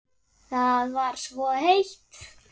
Það var svo heitt.